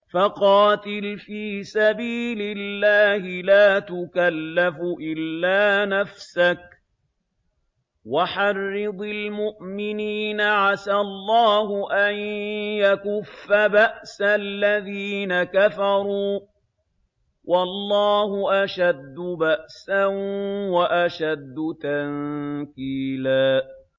فَقَاتِلْ فِي سَبِيلِ اللَّهِ لَا تُكَلَّفُ إِلَّا نَفْسَكَ ۚ وَحَرِّضِ الْمُؤْمِنِينَ ۖ عَسَى اللَّهُ أَن يَكُفَّ بَأْسَ الَّذِينَ كَفَرُوا ۚ وَاللَّهُ أَشَدُّ بَأْسًا وَأَشَدُّ تَنكِيلًا